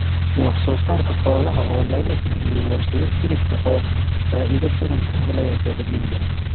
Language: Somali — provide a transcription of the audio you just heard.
Wax-soo-saarka xoolaha oo laga iibiyo warshado Hilibka ah oo faa�iido badan ka helaya beeralayda.